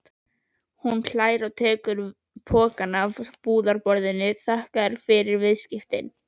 Hún hlær og tekur pokann af búðarborðinu, þakkar fyrir viðskiptin.